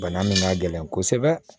Bana min ka gɛlɛn kosɛbɛ